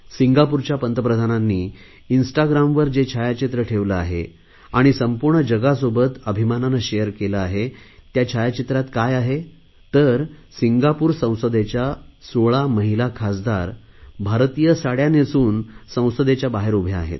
सिंगापूरच्या पंतप्रधानांनी इन्स्टाग्रामवर जे छायाचित्र ठेवले आहे आणि संपूर्ण जगासोबत अभिमानाने शेअर केले आहे त्या छायाचित्रात काय आहे तर सिंगापूर संसदेच्या 16 महिला खासदार भारतीय साडया नेसून संसदेच्या बाहेर उभ्या आहेत